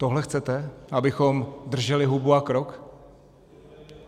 Tohle chcete, abychom drželi hubu a krok?